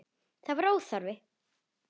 Það var óþarft.